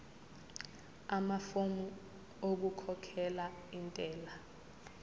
amafomu okukhokhela intela